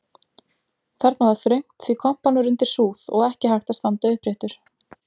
Þarna var þröngt því kompan var undir súð og ekki hægt að standa uppréttur.